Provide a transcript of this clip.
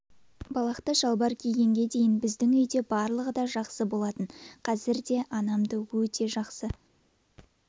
балақты шалбар кигенге дейін біздің үйде барлығы да жақсы болатын қазір де анамды өте жақсы